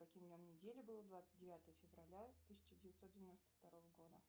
каким днем недели было двадцать девятое февраля тысяча девятьсот девяносто второго года